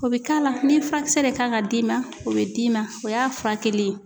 O bi k'a la ,ni furakisɛ ee kan ka d'i ma o be d'i ma .O y'a furakɛli ye.